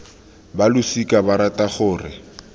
ba losika ba rata gore